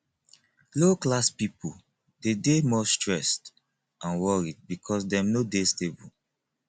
low class pipo de dey more stressed and worried because dem no de stable